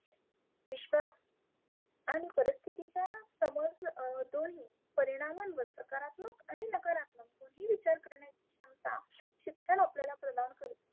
विश्वा आणि प्रिस्थितीचा समज तोही परिनामन व सकारात्मक आणि नकारात्मक दोन्ही विचार करण्याची क्षमता शिक्षण आपल्याला प्रदान करते.